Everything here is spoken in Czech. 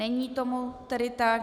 Není tomu tedy tak.